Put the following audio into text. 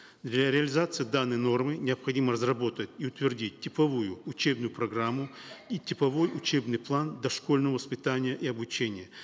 для реализации данной нормы необходимо разработать и утвердить типовую учебную программу и типовой учебный план дошкольного воспитания и обучения